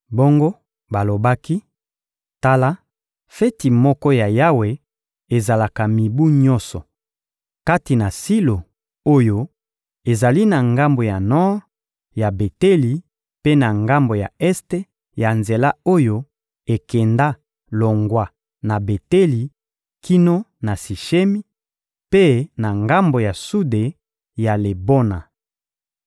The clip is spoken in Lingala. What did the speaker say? Bongo balobaki: «Tala, feti moko ya Yawe ezalaka mibu nyonso, kati na Silo oyo ezali na ngambo ya nor ya Beteli mpe na ngambo ya este ya nzela oyo ekenda longwa na Beteli kino na Sishemi, mpe na ngambo ya sude ya Lebona.»